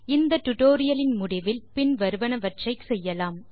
இந்த டுடோரியலின் முடிவில் பின் வருவனவற்றை செய்யலாம்